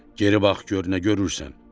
Geri bax gör nə görürsən.